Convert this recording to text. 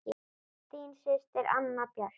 Þín systir, Anna Björk.